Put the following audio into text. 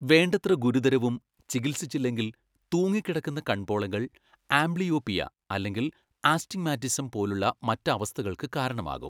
വേണ്ടത്ര ഗുരുതരവും ചികിത്സിച്ചില്ലെങ്കിൽ, തൂങ്ങിക്കിടക്കുന്ന കൺപോളകൾ ആംബ്ലിയോപിയ അല്ലെങ്കിൽ ആസ്റ്റിഗ്മാറ്റിസം പോലുള്ള മറ്റ് അവസ്ഥകൾക്ക് കാരണമാകും.